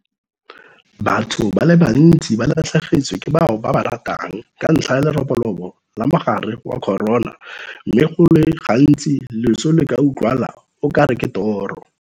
Batho ba le bantsi ba latlhegetswe ke bao ba ba ratang ka ntlha ya leroborobo la mogare wa corona mme go le gantsi loso le ka utlwala o kare ke toro.